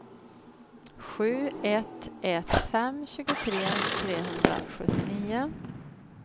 sju ett ett fem tjugotre trehundrasjuttionio